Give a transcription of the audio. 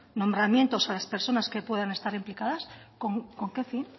nombramientos a las personas que pueden estar implicadas con qué fin